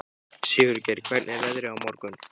Sigurgeir, hvernig er veðrið á morgun?